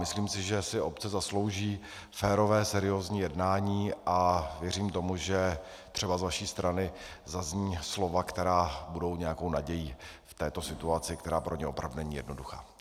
Myslím si, že si obce zaslouží férové seriózní jednání, a věřím tomu, že třeba z vaší strany zazní slova, která budou nějakou nadějí v této situaci, která pro ně opravdu není jednoduchá.